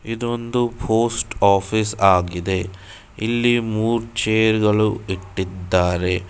ಇದ್ ಒಂದು post office ಆಗಿದೆ ಇಲ್ಲಿ ಮೂರ್ ಚೇರ್ ಗಳು ಇಟ್ಟಿದ್ದಾರೆ.